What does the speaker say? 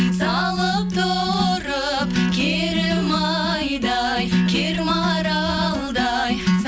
салып тұрып керім айдай кер маралдай